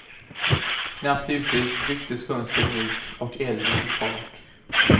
Knappt ute trycktes fönstren ut och elden tog fart.